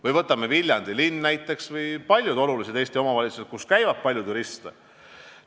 Või võtame Viljandi linna või paljud olulised Eesti omavalitsused, kus käib palju turiste.